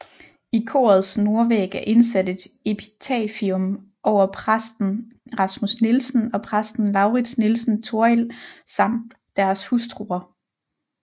I korets nordvæg er indsat et epitafium over præsten Rasmus Nielsen og præsten Lauritz Nielsen Torrild samt deres hustruer